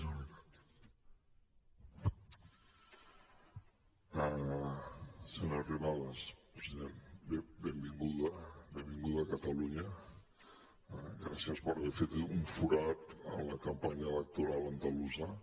benvinguda benvinguda a catalunya gràcies per haver fet un forat en la campanya electoral andalusa